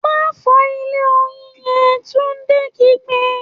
‘Má fò̩ó̩ ilé oyin ye̩n!’, Túndé kígbe